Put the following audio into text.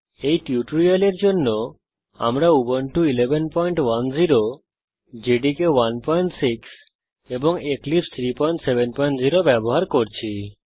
এই টিউটোরিয়ালের জন্য আমরা উবুন্টু 1110 জেডিকে 16 এবং এক্লিপসে 370 ব্যবহার করছি